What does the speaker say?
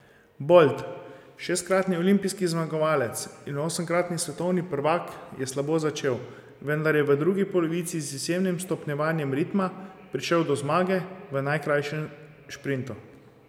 Bolt, šestkratni olimpijski zmagovalec in osemkratni svetovni prvak, je slabo začel, vendar je v drugi polovici z izjemnim stopnjevanjem ritma prišel do zmage v najkrajšem sprintu.